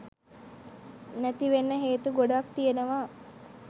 නැතිවෙන්න හේතු ගොඩාක් තියෙනවා